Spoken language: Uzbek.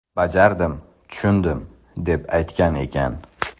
Bajardim – tushundim” deb aytgan ekan.